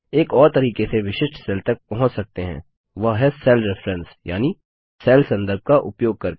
एक और तरीके से विशिष्ट सेल तक पहुँच सकते हैं वह है सेल रेफरेंस यानि सेल संदर्भ का उपयोग करके